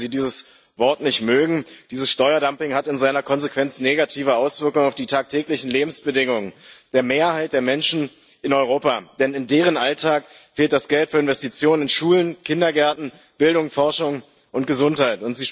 Und auch, wenn Sie dieses Wort nicht mögen dieses Steuerdumping hat in seiner Konsequenz negative Auswirkungen auf die tagtäglichen Lebensbedingungen der Mehrheit der Menschen in Europa, denn in deren Alltag fehlt das Geld für Investitionen in Schulen, Kindergärten, Bildung, Forschung und Gesundheit.